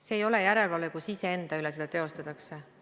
See ei ole järelevalve, kui seda iseenda üle teostatakse.